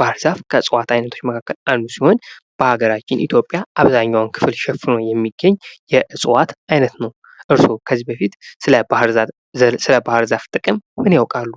ባህርዛፍ ከእፅዋት አይነቶች መካከል አንዱ ሲሆን በሀገራችን ኢትዮጵያ አብዛኛውን ክፍል ሸፍኖ የሚገኝ የእፅዋት አይነት ነው። እርስዎ ከዚህ በፊት ስለ ባህርዛፍ ዘር ጥቅም ምን ያውቃሉ?